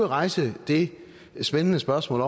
rejse det spændende spørgsmål